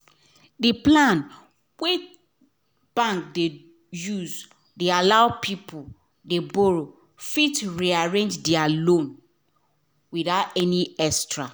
d plan wey bank de use de allow allow people dey borrow fit rearrange their loan without any extra